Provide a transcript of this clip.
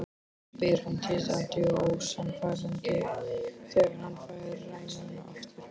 spyr hann titrandi og ósannfærandi þegar hann fær rænuna aftur.